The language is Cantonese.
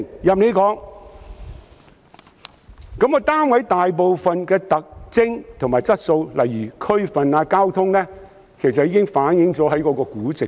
至於單位大部分的特徵和質素，例如地區及交通，其實已反映於估值。